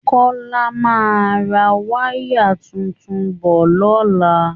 Kọ́lá máa ra wáyà tuntun bọ̀ lọ́la